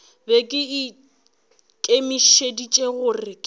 be ke ikemišeditše gore ke